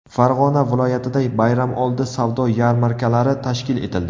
Farg‘ona viloyatida bayramoldi savdo yarmarkalari tashkil etildi.